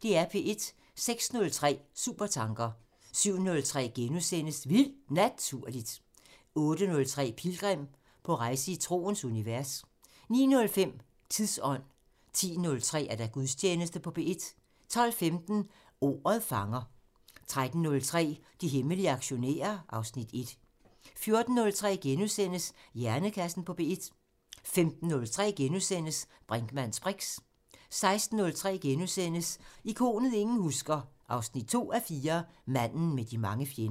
06:03: Supertanker 07:03: Vildt Naturligt * 08:03: Pilgrim – på rejse i troens univers 09:05: Tidsånd 10:03: Gudstjeneste på P1 12:15: Ordet fanger 13:03: De hemmelige aktionærer (Afs. 1) 14:03: Hjernekassen på P1 * 15:03: Brinkmanns briks * 16:03: Ikonet ingen husker – 2:4 Manden med de mange fjender *